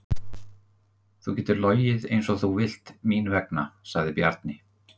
Þú getur logið eins og þú vilt mín vegna, sagði Bjarni.